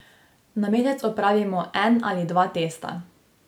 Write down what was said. Na mesec opravimo en ali dva testa.